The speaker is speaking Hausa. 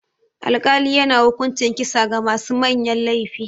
Alkali yana hukuncin kisa ga masu manyan laifi.